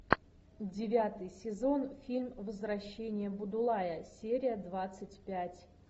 девятый сезон фильм возвращение будулая серия двадцать пять